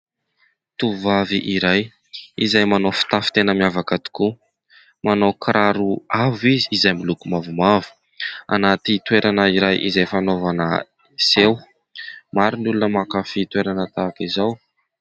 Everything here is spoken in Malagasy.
Tovovavy iray izay manao fitafy tena miavaka tokoa, manao kiraro avo izy izay miloko mavomavo anaty toerana iray izay fanaovana seho. Maro ny olona mankafy toerana tahak'izao.